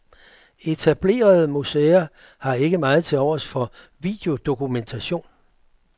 Etablerede museer har ikke meget tilovers for videodokumentation.